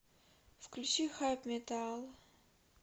включи хайпметал